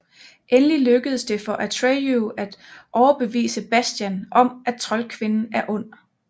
Endelig lykkes det for Atreyu at overbevise Bastian om at troldkvinden er ond